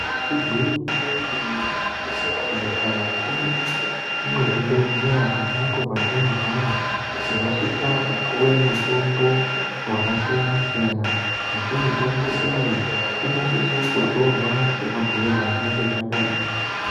Igwinyiso yemene mene, mukati mwezvibhedhlera ponapo patinorwara, tinosisa kupuwe mutombo yakasiyana siyana, asi mitombo iyi inosisa kutorwa sema bhuyirwe azvinenge zvakaitwa.